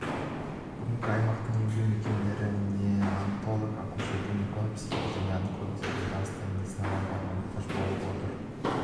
бүгінде аймақтың емдеу мекемелері неонатолог акушер-гинеколог психиатр және онколог секілді астам медицина маманына мұқтаж болып отыр